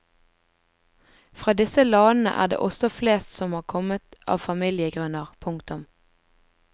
Fra disse landene er det også flest som har kommet av familiegrunner. punktum